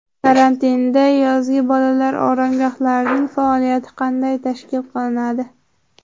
Karantinda yozgi bolalar oromgohlarining faoliyati qanday tashkil qilinadi?